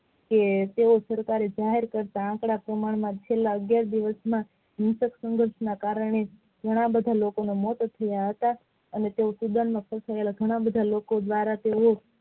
આ સરકારે જાહેર કરતા છેલ્લા અગિયાર દિવસ માં હિંસક ના કારણે ઘણા બધાના મોત થયા હતા અને તેવો ઘણા બધા લોકો દ્વારા